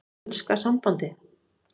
Enska sambandið?